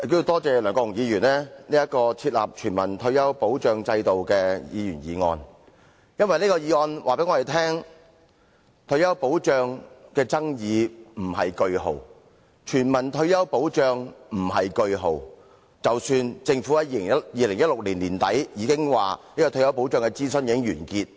多謝梁國雄議員提出"設立全民退休保障制度"的議員議案，因為這項議案告訴我們，退休保障的爭議未劃上句號，而全民退休保障亦未劃上句號，儘管政府在2016年年底已表示退休保障的諮詢已經完結。